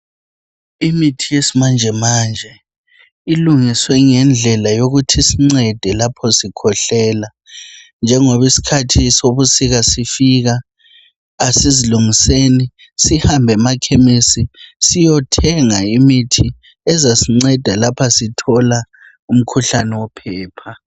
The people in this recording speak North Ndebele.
Imithi yesimanjemanje ilungiswe ngendlela yokuthi isincede lapho sikhwehlela njengobiskhathi sobusika sifika asizilungiseni sihambemakhemesi siyothenga imithi ezasinceda lapha sithola umkhuhlani wophepha.